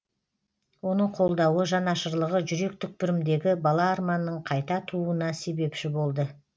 оның қолдауы жанашырлығы жүрек түкпірімдегі бала арманның қайта тууына себепші болды